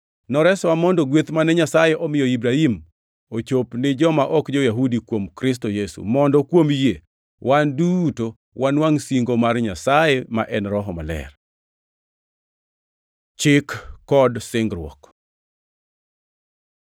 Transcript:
Noresowa mondo gweth mane Nyasaye omiyo Ibrahim ochop ni joma ok jo-Yahudi kuom Kristo Yesu, mondo kuom yie wan duto wanwangʼ singo mar Nyasaye, ma en Roho Maler. Chik kod singruok